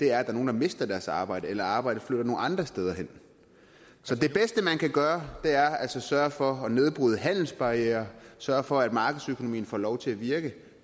er nogle der mister deres arbejde eller at arbejdet flytter nogle andre steder hen så det bedste man kan gøre er altså at sørge for at nedbryde handelsbarrierer sørge for at markedsøkonomien får lov til at virke